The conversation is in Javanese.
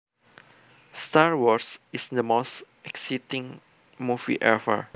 Star Wars is the most exciting movie ever